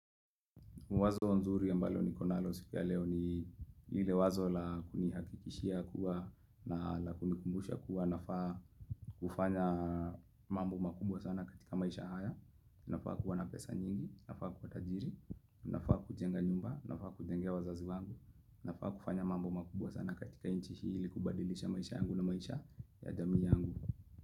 Wazo nzuri ambalo nikonalo siku ya leo ni ile wazo la kunihakikishia kuwa na la kunikumbusha kuwa nafaa kufanya mambo makubwa sana katika maisha haya, nafaa kuwa na pesa nyingi, nafaa kuwa tajiri, nafaa kujenga nyumba, nafaa kujengea wazazi wangu, nafaa kufanya mambo makubwa sana katika inchi ili kubadilisha maisha yangu na maisha ya jamii yangu.